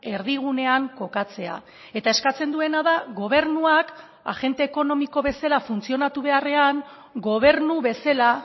erdigunean kokatzea eta eskatzen duena da gobernuak agente ekonomiko bezala funtzionatu beharrean gobernu bezala